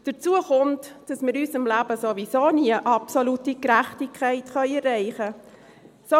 Hinzu kommt, dass wir in unserem Leben sowieso nie absolute Gerechtigkeit erreichen können.